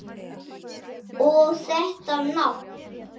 Og þetta nafn!